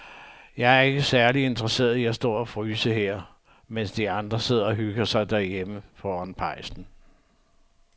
Jeg er ikke særlig interesseret i at stå og fryse her, mens de andre sidder og hygger sig derhjemme foran pejsen.